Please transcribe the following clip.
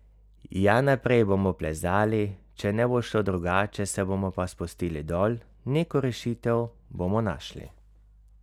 Ja, naprej bomo plezali, če ne bo šlo drugače, se bomo pa spustili dol, neko rešitev bomo našli!